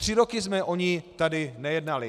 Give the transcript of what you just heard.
Tři roky jsme o ní tady nejednali.